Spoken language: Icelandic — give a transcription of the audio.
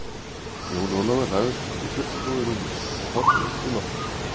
Jón Ólafur lagðist upp í uppbúið rúmið sitt og horfði upp í loftið.